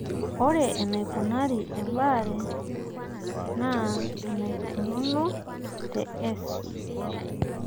ore eneikunari ebaare naa enaikununo te S